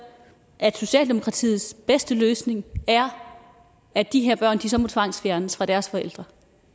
at socialdemokratiets bedste løsning er at de her børn så må tvangsfjernes fra deres forældre